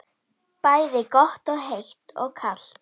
Bæði gott heitt og kalt.